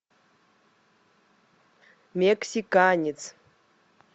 мексиканец